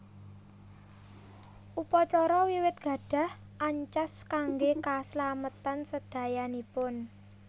Upacara wiwit gadhah ancas kangge kaslametan sedayanipun